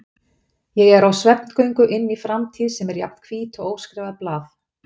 Ég er á svefngöngu inn í framtíð sem er jafn hvít og óskrifað blað.